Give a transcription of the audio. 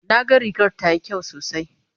na ga rigar tayi kyau sosai